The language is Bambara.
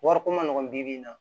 Wariko ma nɔgɔ bi bi in na